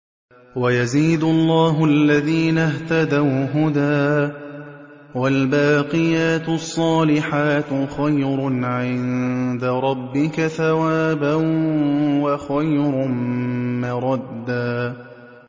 وَيَزِيدُ اللَّهُ الَّذِينَ اهْتَدَوْا هُدًى ۗ وَالْبَاقِيَاتُ الصَّالِحَاتُ خَيْرٌ عِندَ رَبِّكَ ثَوَابًا وَخَيْرٌ مَّرَدًّا